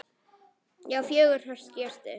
Já, fjögur HJÖRTU!